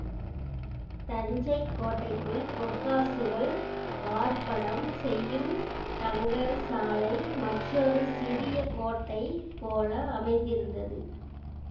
தஞ்சை கோட்டைக்குள் பொற்காசுகள் வார்ப்படம் செய்யும் தங்கசாலை மற்றொரு சிறிய கோட்டை போல அமைந்திருந்தது